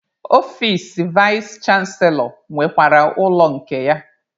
Ọfici vais chanselọ nwekwara ụlọ nke ya.